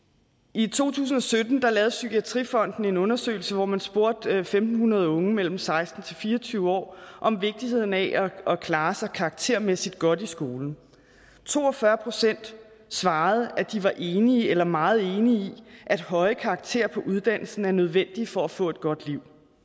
i to tusind og sytten lavede psykiatrifonden en undersøgelse hvor man spurgte en tusind fem hundrede unge mellem seksten og fire og tyve år om vigtigheden af at klare sig karaktermæssigt godt i skolen to og fyrre procent svarede at de var enige eller meget enige i at høje karakterer på uddannelsen er nødvendige for at få et godt liv